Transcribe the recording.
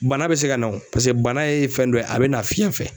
Bana bɛ se ka na o bana ye fɛn dɔ ye a bɛ na fiyɛn fɛ.